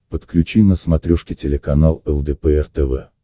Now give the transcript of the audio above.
подключи на смотрешке телеканал лдпр тв